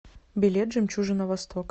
билет жемчужина востока